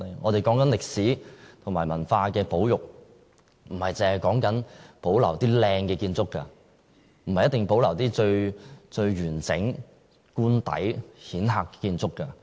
我們說歷史和文化的保育，不單是說保留一些漂亮的建築物，不一定是要保留最完整的官邸或顯赫的建築。